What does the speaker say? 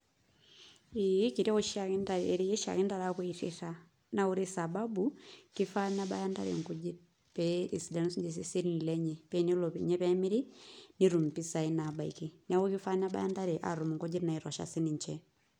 Ee kireu oshiake ntare erei oshiake ntare apuo airrita. Na ore sababu, kifaa nebaya ntare nkujit pee esidanu sinche iseseni lenye. Penelo ninye pemiri, netum impisai nabaiki. Neeku kifaa nebaya ntare atum inkujit naitosha sininche.